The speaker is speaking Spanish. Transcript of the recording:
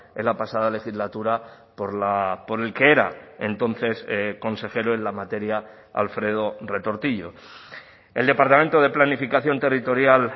en la pasada legislatura por el que era entonces consejero en la materia alfredo retortillo el departamento de planificación territorial